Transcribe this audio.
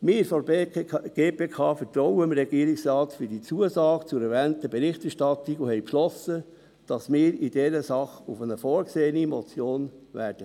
Wir von der GPK vertrauen dem Regierungsrat für die Zusage zur erwähnten Berichterstattung und haben beschlossen, dass wir in dieser Sache auf eine vorgesehene Motion verzichten werden.